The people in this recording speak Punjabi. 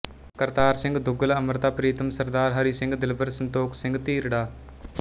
ਕਰਤਾਰ ਸਿੰਘ ਦੁੱਗਲ ਅਮ੍ਰਿਤਾ ਪ੍ਰੀਤਮ ਸ ਹਰੀ ਸਿੰਘ ਦਿਲਬਰ ਸੰਤੋਖ ਸਿੰਘ ਧੀਰ ਡਾ